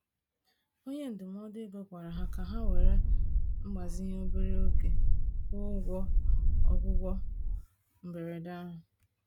Onye ndụmọdụ ego gwara ha ka ha were mgbazinye obere oge kwụọ ụgwọ ọgwụgwọ mberede ahụ